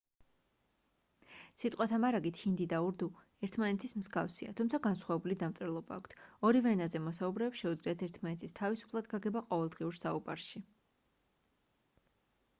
სიტყვათა მარაგით ჰინდი და ურდუ ერთმანეთის მსგავსია თუმცა განსხვავებული დამწერლობა აქვთ ორივე ენაზე მოსაუბრეებს შეუძლიათ ერთმანეთის თავისუფლად გაგება ყოველდღიურ საუბარში